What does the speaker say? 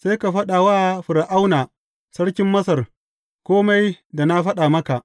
Sai ka faɗa wa Fir’auna sarkin Masar kome da na faɗa maka.